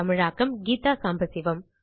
தமிழாக்கம் கீதா சாம்பசிவம்